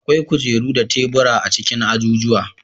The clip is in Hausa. Akwai kujeru da tebura a cikin ajujuwa.